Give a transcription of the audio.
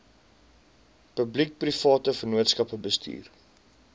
publiekeprivate vennootskappe bestuur